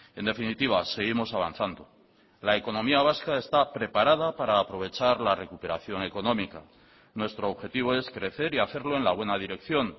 en definitiva seguimos avanzando la economía vasca está preparada para aprovechar la recuperación económica nuestro objetivo es crecer y hacerlo en la buena dirección